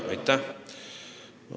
Aitäh!